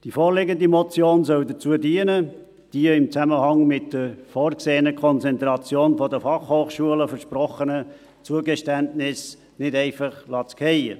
Die vorliegende Motion soll dazu dienen, die in Zusammenhang mit der vorgesehenen Konzentration der Fachhochschulen versprochenen Zugeständnisse nicht einfach fallen zu lassen.